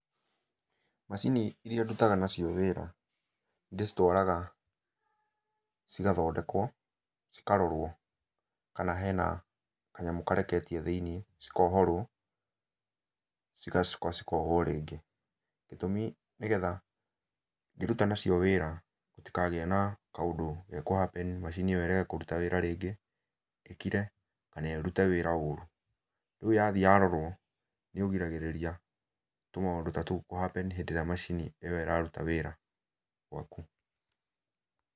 Macini iria ndutaga nacio wĩra, nĩndĩcitwaraga cigathondekwo, cikarorwo kana hena kanyamũ kareketie thĩiniĩ, cikohorwo, cigacoka cikohwo rĩngĩ. Gĩtũmi nĩgetha ngĩruta nacio wĩra, gũtikagĩe na kaũndũ gekũhappen macini ĩyo ĩrege kũruta wĩra rĩngĩ, ĩkire, kana ĩrute wĩra ũru. Rĩu yathiĩ yarorwo, nĩũgiragĩrĩria tũmaũndũ ta tũu kũhappen hĩndĩ ĩrĩa macini ĩyo ĩraruta wĩra gũaku.